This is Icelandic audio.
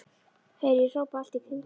heyri ég hrópað allt í kringum mig.